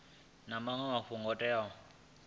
na maṅwe mafhungo o teaho